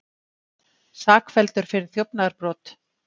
Sakfelldur fyrir þjófnaðarbrot